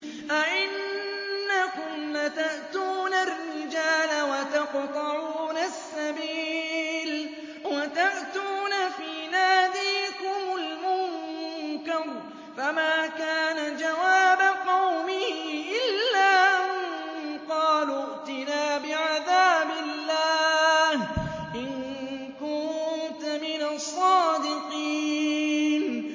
أَئِنَّكُمْ لَتَأْتُونَ الرِّجَالَ وَتَقْطَعُونَ السَّبِيلَ وَتَأْتُونَ فِي نَادِيكُمُ الْمُنكَرَ ۖ فَمَا كَانَ جَوَابَ قَوْمِهِ إِلَّا أَن قَالُوا ائْتِنَا بِعَذَابِ اللَّهِ إِن كُنتَ مِنَ الصَّادِقِينَ